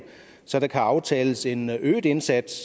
så der kan aftales en øget indsats